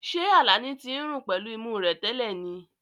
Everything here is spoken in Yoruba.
Ṣé Alani ti ń rùn pẹ̀lú imú rẹ̀ tẹ́lẹ̀ ni?